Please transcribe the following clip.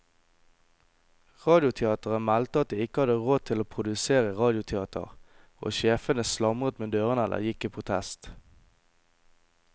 Radioteateret meldte at de ikke hadde råd til å produsere radioteater, og sjefene slamret med dørene eller gikk i protest.